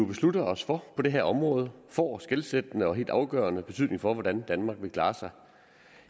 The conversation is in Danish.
beslutter os for på det her område får skelsættende og helt afgørende betydning for hvordan danmark vil klare sig